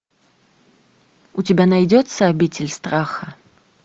у тебя найдется обитель страха